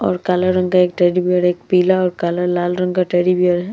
और काले रंग का एक टेडी बेयर एक पीला और काला लाल रंग का टेडी बेयर है।